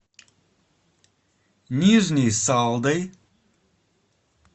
нижней салдой